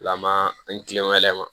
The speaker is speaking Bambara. Lama an tilen ka yɛlɛma